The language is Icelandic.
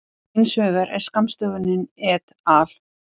Hins vegar er skammstöfunin et al.